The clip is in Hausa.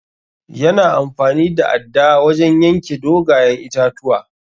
Ya na amfani da adda wajen yanke dogayen itatuwa.